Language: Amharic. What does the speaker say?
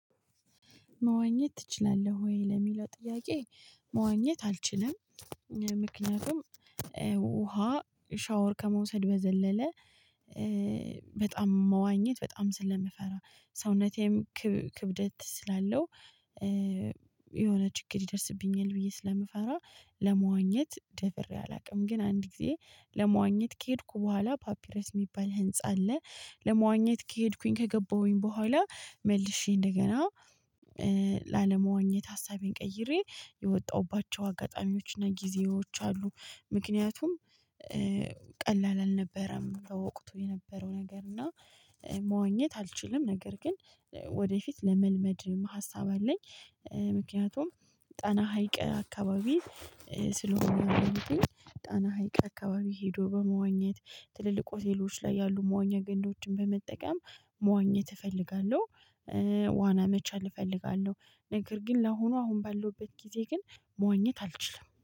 መዋኘት ትችላለህ ወይ ለሚለው ጥያቄ? መዋኘት አልችልም። ምክንያቱም ውሃ ሻወር ከመውሰድ በዘለለ። በጣም መዋኘት በጣም ስለምፈራ ሰውነቴም ክብደት ስላለው። የሆነ ችግር ይደርስብኛል ብዬ ስለምፈራ ለመዋኘት ደፍሬ አላውቅም። ግን አንድ ጊዜ ለመዋኘት ከሄድኩ በኋላ ፓፒሬስ የሚባል ህንፃ አለ። ለመዋኘት ከሄድኩኝ ከገባሁኝ በኋላ መልሼ እንደገና ላለመወኘት ሀሳቤን ቀይሬ የወጣሁባቸው አጋጣሚዎችና ጊዜዎች አሉ። ምክንያቱም ቀላል አልነበረም ለወቅቱ የነበረው ነገር እና። መዋኘት አልችልም ነገር ግን ወደፊት ለመልመድ ሀሳብ አለኝ። ምክንያቱም ጣና ሀይቅ አካባቢ። ስለሆነ አሁን ጣና ሀይቅ አካባቢ ሄዶ በመዋኘት ትልልቅ ሆቴሎች ላይ ያሉ መዋኛ ገንዳዎችን በመጠቀም መዋኘት እፈልጋለሁ። ዋና መቻል እፈልጋለሁ። ነገር ግን ላሁኑ አሁን ባለሁበት ጊዜ ግን መዋኘት አልችልም።